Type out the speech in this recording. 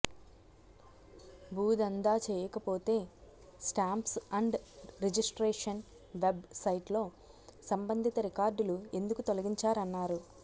భూదందా చేయకపోతే stamps and registration web సైట్లో సంబంధిత రికార్డులు ఎందుకు తొలగించారన్నారు